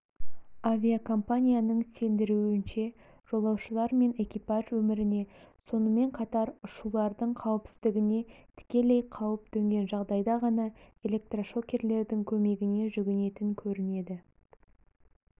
авиакомпанияның сендіруінше жолаушылар мен экипаж өміріне сонымен қатар ұшулардың қауіпсіздігіне тікелей қауіп төнген жағдайда ғана электрошокерлердің көмегіне жүгінетін көрінеді